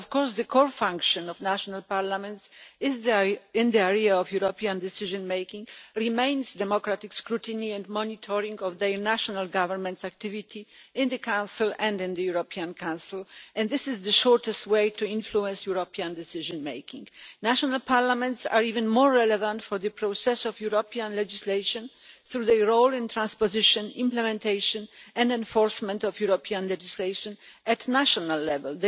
But the core function of national parliaments is in the area of European decision making, and this remains democratic scrutiny and monitoring of their national government's activity in the Council and in the European Council, and this is the shortest way to influence European decision making. National parliaments are even more relevant for the process of European legislation through their role in the transposition, implementation and enforcement of European legislation at national level.